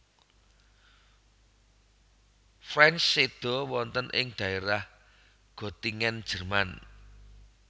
Franck séda wonten ing daerah Gottingen Jerman